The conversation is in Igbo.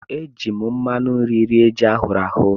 E jiiri m mmanụ nri rie ji ahụrụ ahụ.